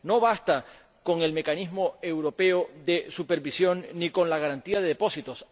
No basta con el mecanismo europeo de supervisión ni con la garantía de depósitos.